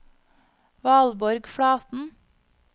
Valborg Flaten